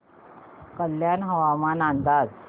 कल्याण हवामान अंदाज